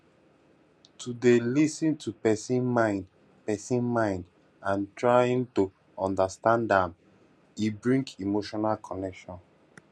to de lis ten to persin mind persin mind and trying to understand am e bring emotional connection